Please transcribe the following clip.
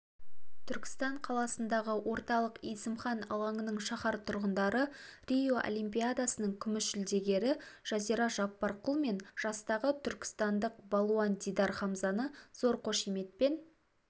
түркістан қаласындағы орталық есімхан алаңында шаһар тұрғындары рио олимпиадасының күміс жүлдегері жазира жаппарқұл мен жастағы түркістандық балуан дидар хамзаны зор қошеметпен